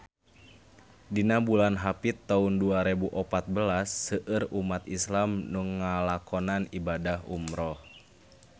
Dina bulan Hapit taun dua rebu opat belas seueur umat islam nu ngalakonan ibadah umrah